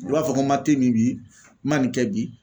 U r'a fɔ ko ma min bi ma nin kɛ bi